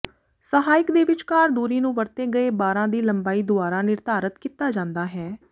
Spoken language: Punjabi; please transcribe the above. ਸਹਾਇਕ ਦੇ ਵਿਚਕਾਰ ਦੂਰੀ ਨੂੰ ਵਰਤੇ ਗਏ ਬਾਰਾਂ ਦੀ ਲੰਬਾਈ ਦੁਆਰਾ ਨਿਰਧਾਰਤ ਕੀਤਾ ਜਾਂਦਾ ਹੈ